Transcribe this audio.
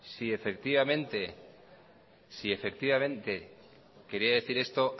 si efectivamente quería decir esto